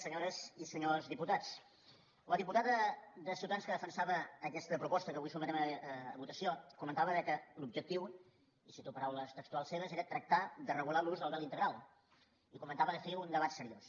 senyores i senyors diputats la diputada de ciutadans que defensava aquesta proposta que avui sotmetem a votació comentava que l’objectiu i cito paraules textuals seves era tractar de regular l’ús del vel integral i comentava de fer un debat seriós